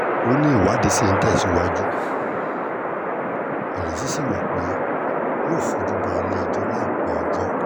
ó ní ìwádìí ṣì ń tẹ̀síwájú ìrètí sí wa pé yóò fojú bá ilé-ẹjọ́ láìpẹ́